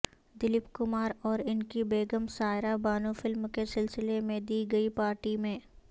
دلیپ کماراور ان کی بیگم سائرہ بانو فلم کے سلسلے میں دی گئی پارٹی میں